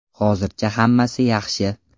Hozircha hammasi yaxshi!